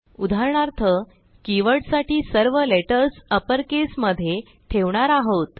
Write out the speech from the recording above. उदाहरणार्थ कीवर्डसाठी सर्व लेटर्स अपर caseमध्ये ठेवणार आहोत